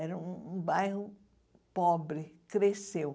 Era um bairro pobre, cresceu.